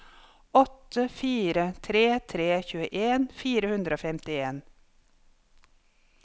åtte fire tre tre tjueen fire hundre og femtien